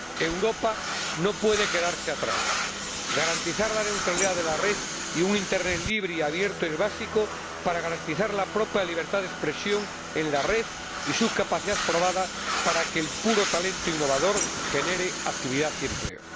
Europa no puede quedarse atrás. Garantizar la neutralidad de la red y un internet libre y abierto es básico para garantizar la propia libertad de expresión en la red y su capacidad probada para que el puro talento innovador genere actividad y empleo.